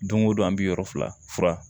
Don o don an bɛ yɔrɔ fila fura